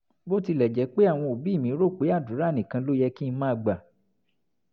bó tilẹ̀ jẹ́ pé àwọn òbí mi rò pé àdúrà nìkan ló yẹ kí n máa gbà